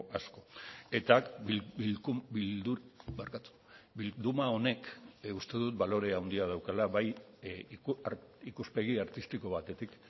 asko eta bilduma honek uste dut balore handia daukala bai ikuspegi artistiko batetik